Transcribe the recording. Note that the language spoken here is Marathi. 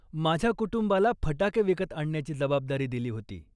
माझ्या कुटुंबाला फटाके विकत आणण्याची जबाबदारी दिली होती.